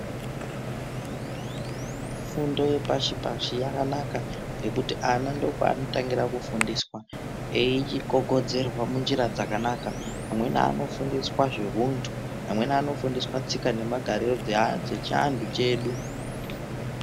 Fundo yepashipashi yakanaka ngekuti ana ndopanotangira kufundiswa eyigogodzerwa munjira dzakanaka amweni anofundiswa zvehuntu amweni anofundiswa tsika nemagariro dzechiantu chedu